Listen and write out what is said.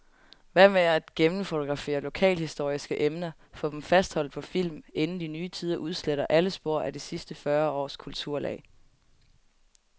Hvad med at gennemfotografere lokalhistoriske emner, få dem fastholdt på film, inden de nye tider udsletter alle spor af de sidste fyrre års kulturlag.